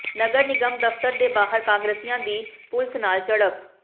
ਨਗਰ ਨਿਗਮ ਦਫ਼ਤਰ ਦੇ ਬਾਹਰ ਕਾਂਗਰਸੀਆਂ ਦੀ ਪੁਲਸ ਨਾਲ ਝੜਪ